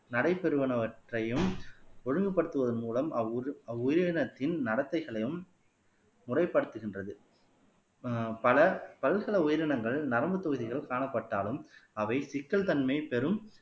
நடைபெறுவனவற்றையும் ஒழுங்குபடுத்துவதன் மூலம் அவ்வு அவ்வுயிரினத்தின் நடத்தைகளையும் முறைப்படுத்துகின்றது ஆஹ் பல பல்சில உயிரினங்கள் நரம்பு பகுதிகளில் காணப்பட்டாலும் அவை சிக்கல் தன்மை பெரும்